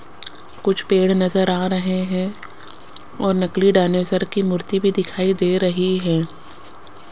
कुछ पेड़ नजर आ रहे हैं और नकली डायनासोर की मूर्ति भी दिखाई दे रही है।